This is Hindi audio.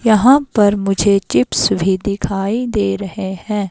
यहां पर मुझे चिप्स भी दिखाई दे रहे हैं।